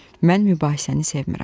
Mən mübahisəni sevmirəm.